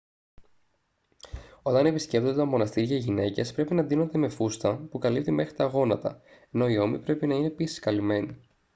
όταν επισκέπτονται τα μοναστήρια οι γυναίκες πρέπει να ντύνονται με φούστα που καλύπτει μέχρι τα γόνατα ενώ οι ώμοι πρέπει να είναι επίσης καλυμμένοι